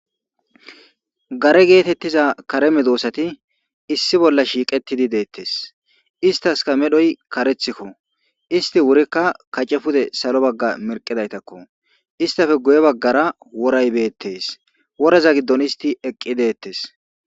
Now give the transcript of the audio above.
gare geetettiza kareme doossati issi bolla shiiqetidi deettes istaska medhoy karethikko isti wurikka kace pude salo bagga merqidaytakko istafe guye baggara woray beettes woreza giddon isti eqqi deettes